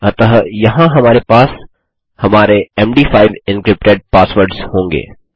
अतः यहाँ हमारे पास हमारे मद5 एन्क्रिप्टेड पासवर्डस होंगे